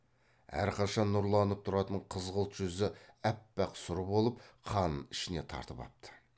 әрқашан нұрланып тұратын қызғылт жүзі аппақ сұр болып қанын ішіне тартып апты